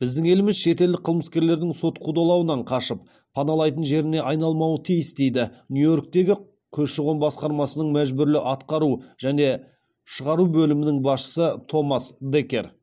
біздің еліміз шетелдік қылмыскерлердің сот қудалауынан қашып паналайтын жеріне айналмауы тиіс дейді нью йорктегі көші қон басқармасының мәжбүрлі атқару және шығару бөлімінің басшысы томас декер